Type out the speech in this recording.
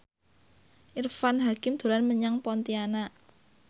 Irfan Hakim dolan menyang Pontianak